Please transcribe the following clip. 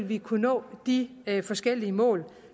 vil kunne nå de forskellige mål